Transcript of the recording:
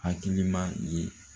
Hakilima ye